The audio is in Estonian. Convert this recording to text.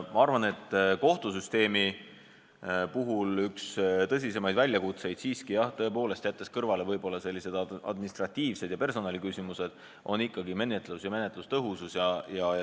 Ma arvan, et kohtusüsteemi üks tõsisemaid väljakutseid, jättes kõrvale sellised administratiivsed ja personaliküsimused, on ikkagi menetlus ja menetluse tõhusus.